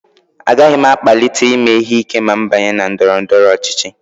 Agaghị m akpalite ime ihe ike ma m banye na ndọrọ ndọrọ ọchịchị